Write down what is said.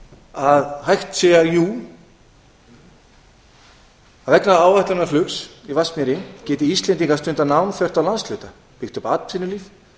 að hægt sé vegna áætlunarflugs í vatnsmýri geti íslendingar stundað nám þvert á landshluta byggt upp atvinnulíf